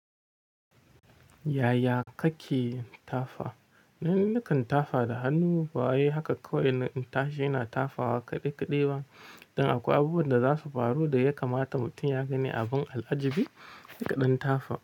Yaya kake tafa? Ni nikan tafa da hannu, bawai haka kawai na tashi, ina tafawa kaɗe-kaɗe ba. Dan akwai abubuwan da za su faru da ya kamata mutum ya gani abun al'ajabi, ka ɗan tafa.